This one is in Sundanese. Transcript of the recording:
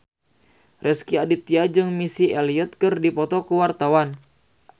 Rezky Aditya jeung Missy Elliott keur dipoto ku wartawan